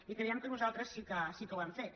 i creiem que nosaltres sí que ho hem fet